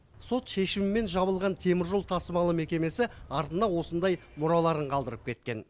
сот шешімімен жабылған теміржол тасымалы мекемесі артына осындай мұраларын қалдырып кеткен